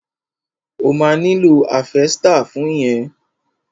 O ma nílò háfẹ́stà fún yẹn.